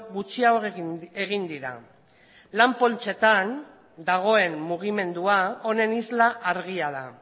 gutxiago egin dira lan poltsetan dagoen mugimendua honen isla argia da